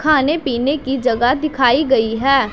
खाने पीने की जगह दिखाई गई है।